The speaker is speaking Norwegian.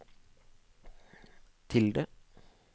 tilde